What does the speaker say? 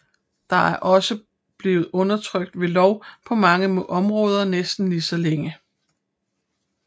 Det er også blevet undertrykt ved lov på mange områder næsten lige så længe